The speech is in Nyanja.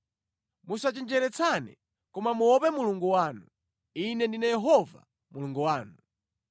Musachenjeretsane koma muope Mulungu wanu. Ine ndine Yehova Mulungu wanu.